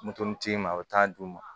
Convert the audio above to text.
Moto tigi ma a bɛ taa d'u ma